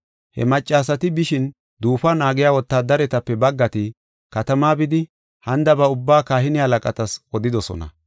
He maccasati bishin, duufuwa naagiya wotaadaretape baggati katamaa bidi, hanidaba ubbaa kahine halaqatas odidosona.